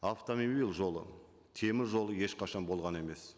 жолы теміржолы ешқашан болған емес